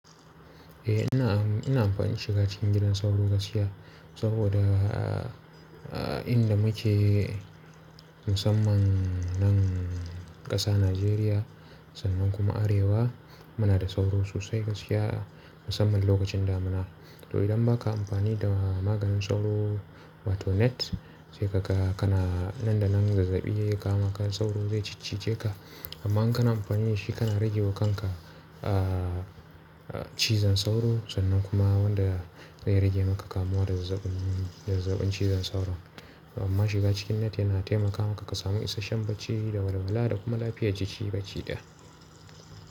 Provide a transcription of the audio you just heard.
Eh ina amfani da shiga cikin gidan sauro gaskiya saboda inda muke musamman nan ƙasa Najeriya sannan kuma arewa muna da sauro sosai gaskiya musamman lokacin damuna. To idan ba ka amfani da maganin sauro wato net sai ka ga kana nan da nan zazzabi ya kama ka sauro zai ciccice ka. Amma in kana amfani da shi kana rage wa kanka cizon sauro sannan kuma wanda zai rage maka kamuwa da zazzabin cizon sauro. Amma shiga cikin net yana taimaka maka ka samu isashen bacci, da walwala da kuma lafiya jiki bacci ɗaya.